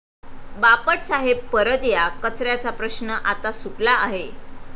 बापट साहेब परत या, कचऱ्याचा प्रश्न आता सुटला आहे'